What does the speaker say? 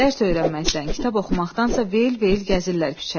Dərs öyrənməkdən, kitab oxumaqdansa veyil-veyil gəzirlər küçəni.